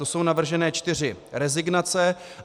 To jsou navržené čtyři rezignace.